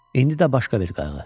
İndi də başqa bir qayğı.